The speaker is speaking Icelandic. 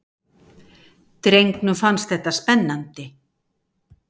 Drengnum fannst þetta spennandi.